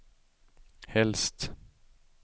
helst